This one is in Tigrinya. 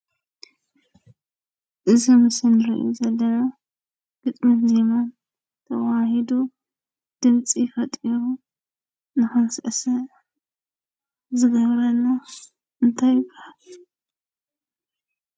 እዚ ኣብ ምስሊ እሪኦ ዘለና ግጥምን ዜማን ተወሃሂዱ ድምፂ ፈጢሩ እናቐስቀሰ ዝነብረሉ እንታይ ይብሃል?